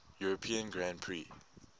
european grand prix